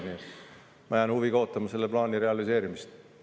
Nii et ma jään huviga ootama selle plaani realiseerimist.